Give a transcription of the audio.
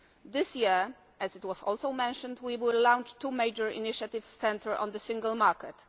This year, as was also mentioned, we will launch two major initiatives centred on the Single Market.